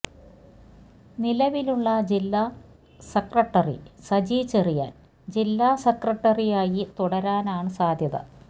നിലവിലുള്ള ജില്ലാ സെക്രട്ടറി സജി ചെറിയാൻ ജില്ലാ സെക്രട്ടറിയായി തുടരാനാണ് സാധ്യത